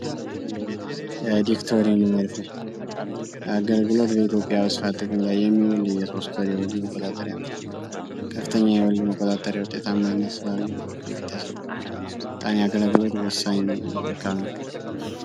የወሊድ መቆጣጠሪያ አገልግሎት በኢትዮጵያ ጥቅም ላይ የሚቆጣጠሪያ ከፍተኛ የወሊድ መቆጣጠሪያ ውጤታማ የቤተሰብ ወሳኝ መልካም ነው።